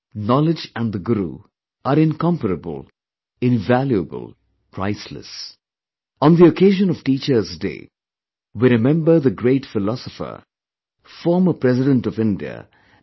Knowledge & the guru are incomparable, invaluable, priceless, On the occasion of Teachers' Day, we remember the great philosopher, former President of India Dr